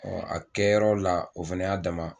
a kɛra yɔrɔ la, o fana y'a dama